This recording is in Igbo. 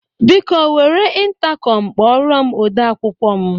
Biko, were ịntakọm kpọrọ m ode akwụkwọ m.